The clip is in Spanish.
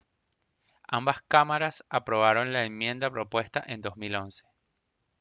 ambas cámaras aprobaron la enmienda propuesta en 2011